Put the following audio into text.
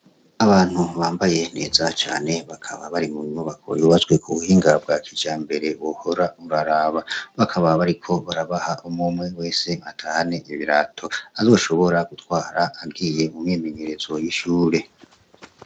Abantu bambaye neza cane, bakaba bari mu nyubako yubatswe ku buhinga bwa kijambere wohora uraraba. Bakaba bariko barabaha umwe umwe wese atahane ibirato kandi ashobora gutwara, agiye mu myimenyerezo y'ishure.